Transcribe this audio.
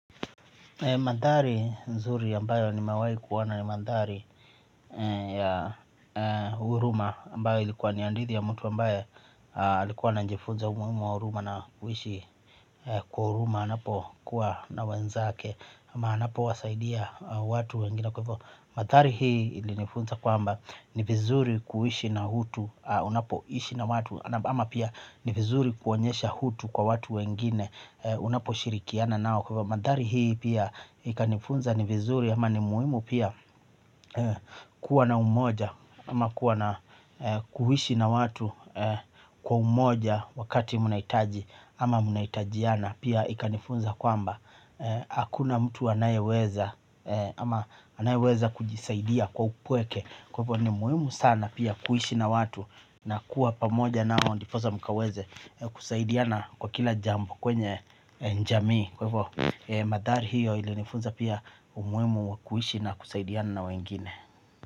Madhari nzuri ambayo ni mewai kuwona ni madhari ya uruma ambayo ilikuwa ni andithi ya mtu ambayo alikuwa ana njifunza umuimu wa uruma na kuishi kwa uruma anapo kuwa na wenzake ama anapo wasaidia watu wengine kwevo. Madhari hii ili nifunza kwamba ni vizuri kuwishi na hutu unapo ishi na watu ama pia ni vizuri kuonyesha hutu kwa watu wengine unapo shirikiana nao kwevo. Madhari hii pia ikanifunza ni vizuri ama ni muhimu pia kuwa na umoja ama kuwa na kuishi na watu kwa umoja wakati mnahitaji ama mnahitajiana. Pia ikanifunza kwamba hakuna mtu anayeweza ama anayeweza kujisaidia kwa upweke. Kwa hivyo ni muhimu sana pia kuishi na watu na kuwa pamoja na o ndipo sa mkaweze kusaidiana kwa kila jambo kwenye jamii kwa hivvo, mandhari hiyo ilinifunza pia umuhimu kuishi na kusaidiana na wengine.